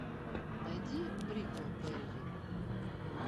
найди бриклберри